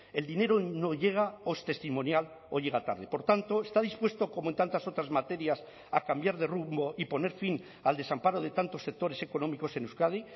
el dinero no llega o es testimonial o llega tarde por tanto está dispuesto como en tantas otras materias a cambiar de rumbo y poner fin al desamparo de tantos sectores económicos en euskadi